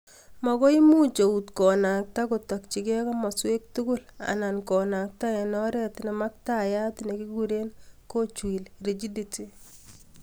Makoimuch eut konakta kotakchikei komaswek tugul anan konakta eng' oret nemamaktayat nekikure ''cogweel'' rigidity